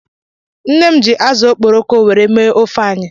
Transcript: Nne m ji azu okporoko were mee ofe anyi